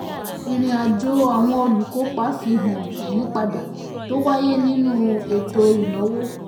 ìrìnàjò àwọn olùkópa fi han ìyípadà tó wáyé nínú ètò ìnáwó.